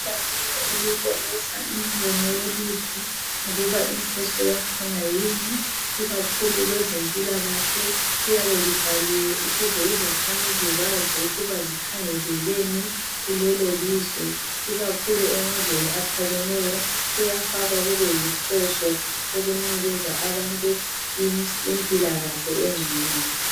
Ibhakane elibonisa imibono yelizwe ukuba inhloso yakhona yini, ikakhulu kwezempilakahle liyabe libhaliwe ukuze izakhamizi zazi ukuba zikhangeleleni kulelolizwe ikakhulu emazweni aphakemeyo kuyafakwa kube inhloso ukunikeza abantu impilakahle engcono.